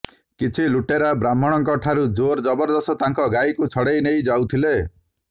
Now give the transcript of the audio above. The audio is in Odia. କିଛି ଲୁଟେରା ବ୍ରାହ୍ମଣଙ୍କଠାରୁ ଜୋର ଜବରଦସ୍ତ ତାଙ୍କ ଗାଈକୁ ଛଡ଼େଇ ନେଇ ଯାଉଥିଲେ